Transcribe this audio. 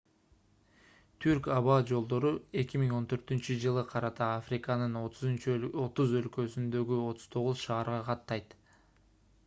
түрк аба жолдору 2014-ж карата африканын 30 өлкөсүндөгү 39 шаарга каттайт